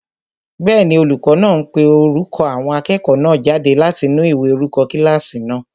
Bẹ́ẹ̀ni, olùkọ́ náà ń pe orúkọ àwọn akẹ́kọ̀ọ́ náà jáde láti inú ìwé orúkọ kílásì náà